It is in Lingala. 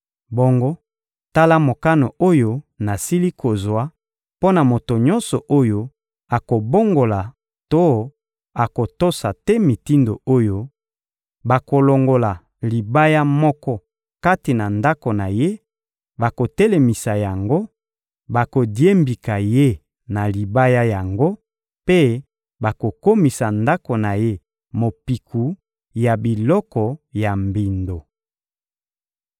Bongo tala mokano oyo nasili kozwa mpo na moto nyonso oyo akobongola to akotosa te mitindo oyo: bakolongola libaya moko kati na ndako na ye, bakotelemisa yango, bakodiembika ye na libaya yango mpe bakokomisa ndako na ye mopiku ya biloko ya mbindo.